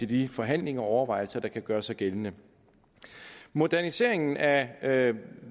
de forhandlinger og overvejelser der kan gøre sig gældende moderniseringen af af